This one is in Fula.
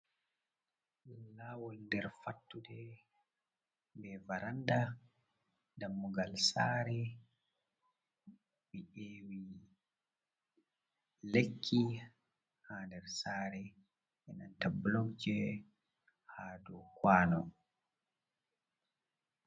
Laawol nder fattude, be varanda, dammugal saare, mi e'wi lekki hander saare ndenta bulokje ha dow kwano.